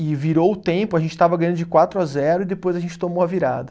E virou o tempo, a gente estava ganhando de quatro a zero e depois a gente tomou a virada.